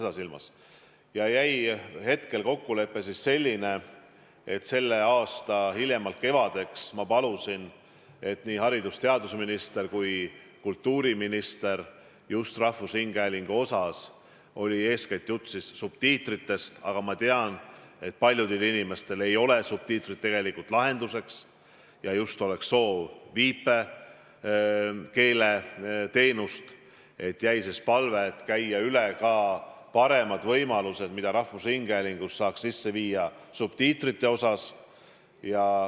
Ja esialgu jäi selline kokkulepe, et hiljemalt selle aasta kevadeks nii haridus- ja teadusminister kui ka kultuuriminister – rahvusringhäälingus oli eeskätt jutt subtiitritest, aga ma tean, et paljudele inimestele ei ole subtiitrid tegelikult lahenduseks ja soov on saada just viipekeele teenust – käiks läbi parimad võimalused rahvusringhäälingus subtiitreid kasutada.